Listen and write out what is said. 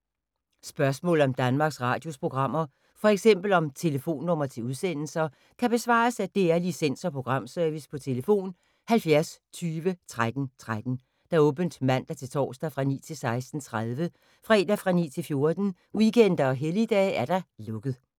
Spørgsmål om Danmarks Radios programmer, f.eks. om telefonnumre til udsendelser, kan besvares af DR Licens- og Programservice: tlf. 70 20 13 13, åbent mandag-torsdag 9.00-16.30, fredag 9.00-14.00, weekender og helligdage: lukket.